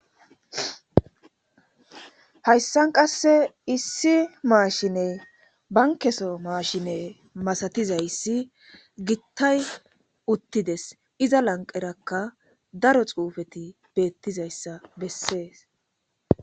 hayisani qasse issi mashineyi banikeso mashine gittay utidesi iza laniqeraka darro xufeti betizayissa besses